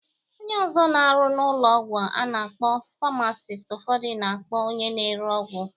Onye ọzọ na-arụ n'ụlọ ọgwụ a na-akpọ famasisti ụfọdụ na-akpọ onye na-ere ọgwụ.